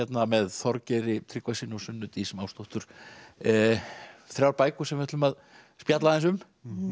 með Þorgeiri Tryggvasyni og Sunnu Dís Másdóttur þrjár bækur sem við ætlum að spjalla aðeins um